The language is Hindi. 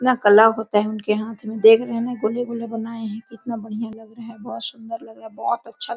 इतना कला होता है उनके हाथ में देख रहे हैन कितना गोले-गोले बनाया हैकितना बड़िया लग रहा हैबोहोत सुन्दर बोहोत अच्छा--